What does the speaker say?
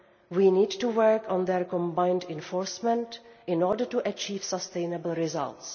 We need to work on their combined enforcement in order to achieve sustainable results.